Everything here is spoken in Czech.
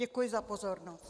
Děkuji za pozornost.